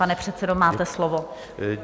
Pane předsedo, máte slovo.